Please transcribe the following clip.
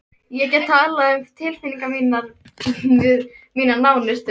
Ég get talað um tilfinningar mínar við mína nánustu.